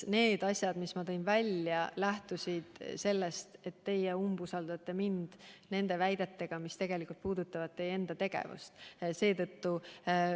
Need asjad, mis ma välja tõin, lähtusid sellest, et teie umbusaldate mind väidetega, mis tegelikult puudutavad teie enda tegevust.